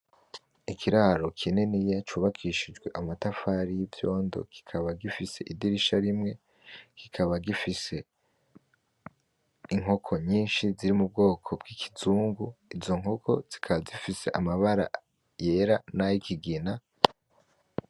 Ikiraro kinini cubakishijwe amatafari y'ivyondo kikaba gifise idirisha rimwe, kikaba gifise inkoko nyishi ziri mubwoko bw'ikizungu. Izo nkoko zikaba zifise amabara yera nayikigena.